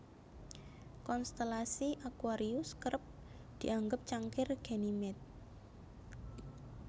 Konstelasi aquarius kerep dianggep cangkir Ganymede